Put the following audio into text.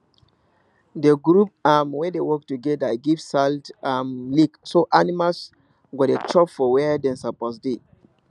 the group um wey dey work togeda give salt um lick so animals go dey chop for where dem suppose dey